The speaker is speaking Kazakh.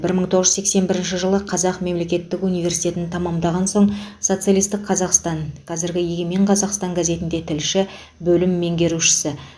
бір мың тоғыз жүз сексен бірінші жылы қазақ мемлекеттік университетін тәмамдаған соң социалистік қазақстан қазіргі егемен қазақстан газетінде тілші бөлім меңгерушісі